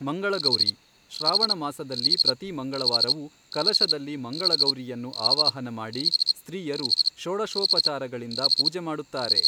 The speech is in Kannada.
ಮಂಗಳಗೌರೀ, ಶ್ರಾವಣ ಮಾಸದಲ್ಲಿ ಪ್ರತಿ ಮಂಗಳವಾರವೂ ಕಲಶದಲ್ಲಿ ಮಂಗಳಗೌರಿಯನ್ನು ಆವಾಹನ ಮಾಡಿ ಸ್ತ್ರೀಯರು ಷೋಡಶೋಪಚಾರಗಳಿಂದ ಪೂಜೆ ಮಾಡುತ್ತಾರೆ.